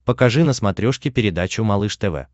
покажи на смотрешке передачу малыш тв